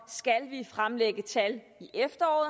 vi fremlægge tal i efteråret